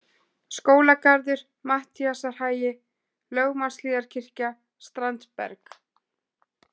Skólagarður, Matthíasarhagi, Lögmannshlíðarkirkja, Strandberg